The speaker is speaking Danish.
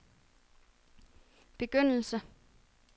begyndelse